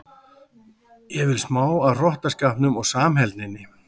Ég vil smá af hrottaskapnum og samheldninni.